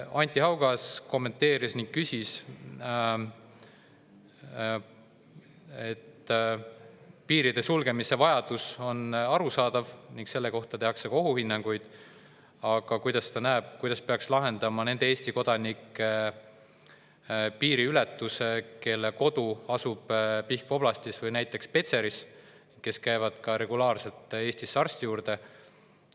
Anti Haugas kommenteeris, et piiride sulgemise vajadus on arusaadav ning selle kohta tehakse ka ohuhinnanguid, ning küsis, kuidas peaks lahendama nende Eesti kodanike piiriületuse, kelle kodu asub Pihkva oblastis või näiteks Petseris ja kes käivad regulaarselt Eestis arsti juures.